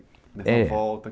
É...) volta.